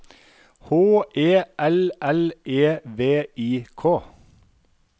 H E L L E V I K